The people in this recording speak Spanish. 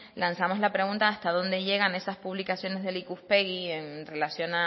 lanzamos la pregunta hasta dónde llegan esas publicaciones del ikuspegi en relación